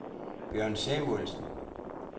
Bjørn Samuelsen